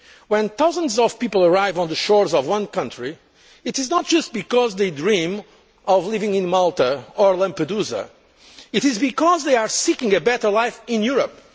When thousands of people arrive on the shores of one country, it is not because they dream of living in Malta or Lampedusa it is because they are seeking a better life in Europe.